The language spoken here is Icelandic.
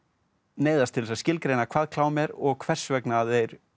neyðast til þess að skilgreina hvað klám er og hvers vegna þeir